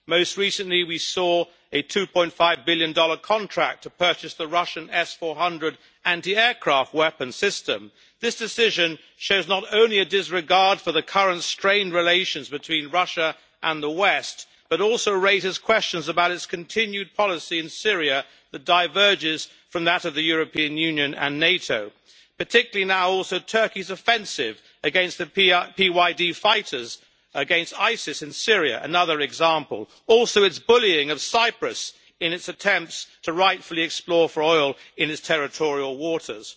Most recently we saw a USD 2.5 billion contract to purchase the Russian S400 anti aircraft weapon system. This decision shows not only a disregard for the current strained relations between Russia and the West but also raises questions about its continued policy in Syria that diverges from that of the European Union and NATO particularly now also Turkey's offensive against the PYD fighters, against ISIS in Syria another example also its bullying of Cyprus in its attempts to rightfully explore for oil in its territorial waters.